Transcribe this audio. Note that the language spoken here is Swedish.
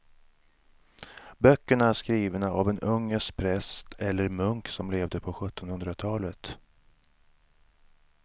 Böckerna är skrivna av en ungersk präst eller munk som levde på sjuttonhundratalet.